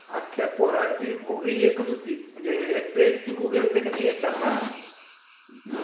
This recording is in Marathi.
अख्या पोरांची bogie एकच होती. म्हणजे एक train ची bogie असते किनई, एक डब्बा